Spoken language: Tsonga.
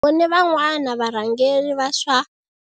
Hi vone van'wana varhangeri va swa